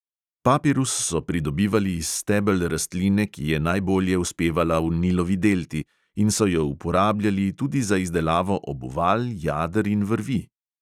Papirus so pridobivali iz stebel rastline, ki je najbolje uspevala v nilovi delti in so jo uporabljali tudi za izdelavo obuval, jader in vrvi.